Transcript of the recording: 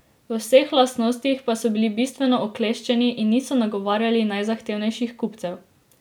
V vseh lastnostih pa so bili bistveno okleščeni in niso nagovarjali najzahtevnejših kupcev.